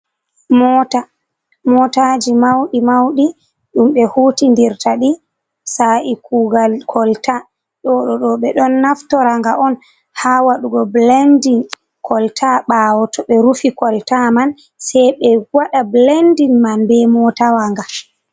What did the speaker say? "Mota" motaji mauɗi mauɗi ɗum ɓe hutidirta ɗi sa’i kugal kolta ɗo ɗo ɓeɗo naftoraga on ha waɗugo bilendin kolta ɓawo to ɓe rufi kolta man sei ɓe waɗa bilendin man be motawa nga.